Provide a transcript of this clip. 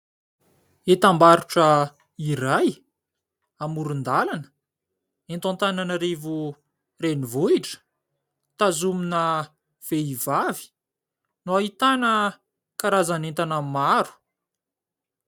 Entam-barotra iray amoron-dalana eto Antananarivo renivohitra, tazomina vehivavy no ahitana karazana entana maro.